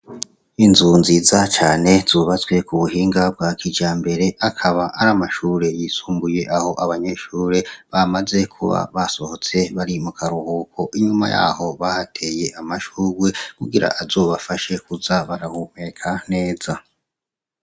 Inzu nziza cane zubatswe ku buhinga bwa kija mbere akaba ari amashure yisumbuye aho abanyeshure bamaze kuba basohotse bari mu karuhuko inyuma yaho bahateye amashurwe kugira azobafashe kuza barahumeka neza.